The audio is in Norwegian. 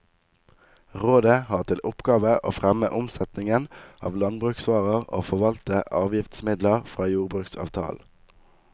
Rådet har til oppgave å fremme omsetningen av landbruksvarer og forvalte avgiftsmidler fra jordbruksavtalen.